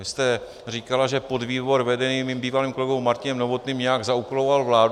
Vy jste říkala, že podvýbor vedený mým bývalým kolegou Martinem Novotným nějak zaúkoloval vládu.